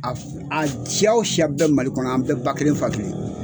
A siya o siya bɛɛ Mali kɔnɔ, an bɛɛ ba kelen fa kelen!